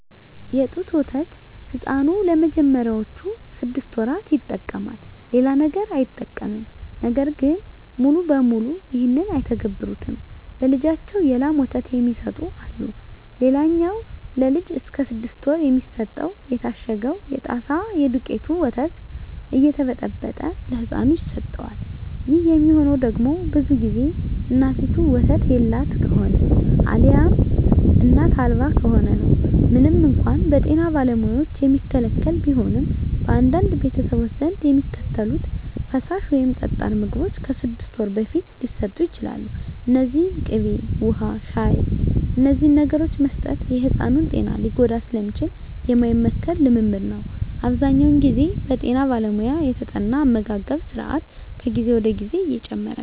የጡት ወተት ሕፃኑ ለመጀመሪያዎቹ ስድስት ወራት ይጠቀማል። ሌላ ነገር አይጠቀምም። ነገር ግን ሙሉ በሙሉ ይህን አይተገብሩትም። ለልጃቸው የላም ወተት የሚሰጡ አሉ። ሌላኛው ለልጅ እስከ ስድስት ወር የሚሰጠው የታሸገው የጣሳ የደውቄቱ ወተት እየተበጠበጠ ለህፃኑ ይሰጠዋል። ይህ የሚሆነው ደግሞ ብዙ ግዜ እናቲቱ ወተት የላት ከሆነ አልያም እናት አልባ ከሆነ ነው። ምንም እንኳን በጤና ባለሙያዎች የሚከለከል ቢሆንም፣ በአንዳንድ ቤተሰቦች ዘንድ የሚከተሉት ፈሳሽ ወይም ጠጣር ምግቦች ከስድስት ወር በፊት ሊሰጡ ይችላሉ። እነዚህም ቅቤ፣ ውሀ፣ ሻሂ…። እነዚህን ነገሮች መስጠት የሕፃኑን ጤና ሊጎዳ ስለሚችል የማይመከር ልምምድ ነው። አብዛኛውን ግዜ በጠና ባለሙያ የተጠና አመጋገብ ስራት ከጊዜ ወደ ጊዜ እየጨመረ ነው።